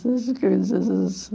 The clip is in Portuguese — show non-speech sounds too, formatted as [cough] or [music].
Tudo isso [unintelligible]